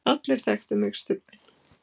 allir þekktu mig, Stubbinn.